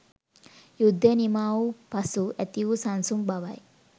යුද්ධය නිමාවූ පසු ඇති වු සන්සුන් බවයි